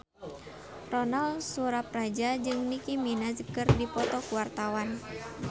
Ronal Surapradja jeung Nicky Minaj keur dipoto ku wartawan